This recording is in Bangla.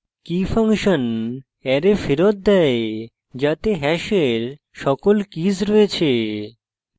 key ফাংশন অ্যারে ফেরত দেয় যাতে hash সকল কীস রয়েছে